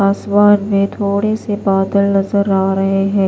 आसमान में थोड़े से बादल नज़र आ रहे है।